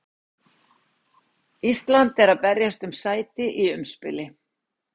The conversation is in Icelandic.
Ísland er að berjast um sæti í umspili.